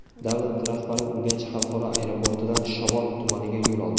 Davlat rahbari Urganch xalqaro aeroportidan Shovot tumaniga yo‘l oldi.